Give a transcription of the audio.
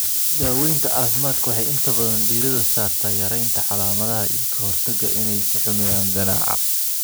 Daawaynta caafimaadku waxay inta badan diiradda saartaa yaraynta calaamadaha iyo ka hortagga inay sii xumeeyaan ganaca.